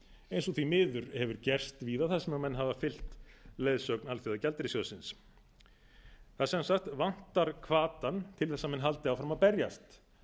eins og því miður hefur gerst víða þar sem menn hafa fylgt leiðsögn alþjóðagjaldeyrissjóðsins það sem sagt vantar hvatann til þess að menn haldi áfram að berjast